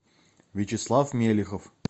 вячеслав мелихов